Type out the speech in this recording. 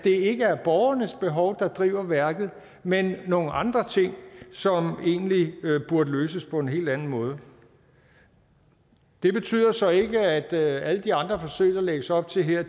ikke er borgernes behov der driver værket men nogle andre ting som egentlig burde løses på en helt anden måde det betyder så ikke at alle de andre forsøg der lægges op til her